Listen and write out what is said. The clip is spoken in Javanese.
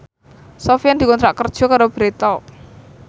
Sofyan dikontrak kerja karo Bread Talk